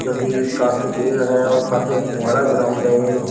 जो कि काफी भीड़ है और काफी अ बड़ा ग्राउंड है ये।